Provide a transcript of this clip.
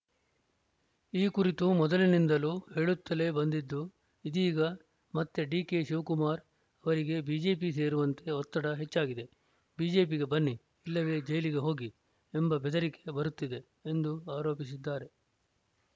ಈ ಕುರಿತು ಮೊದಲಿನಿಂದಲೂ ಹೇಳುತ್ತಲೇ ಬಂದಿದ್ದು ಇದೀಗ ಮತ್ತೆ ಡಿಕೆಶಿವಕುಮಾರ್‌ ಅವರಿಗೆ ಬಿಜೆಪಿ ಸೇರುವಂತೆ ಒತ್ತಡ ಹೆಚ್ಚಾಗಿದೆ ಬಿಜೆಪಿಗೆ ಬನ್ನಿ ಇಲ್ಲವೇ ಜೈಲಿಗೆ ಹೋಗಿ ಎಂಬ ಬೆದರಿಕೆ ಬರುತ್ತಿದೆ ಎಂದು ಆರೋಪಿಸಿದ್ದಾರೆ